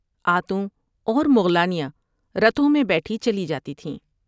آتوں اور مغلانیاں رتھوں میں بیٹھی چلی جاتی تھیں ۔